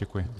Děkuji.